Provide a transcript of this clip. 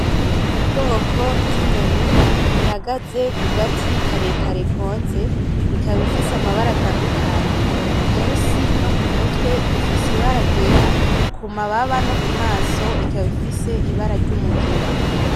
Ubwoko bw'inyoni ihagaze kugati karekare konze ikaba ifise amabara atandukanye.,munsi nokumutwe ifise ibara ryera kumababa nokumaso ikaba ifise ibara ry'umugina.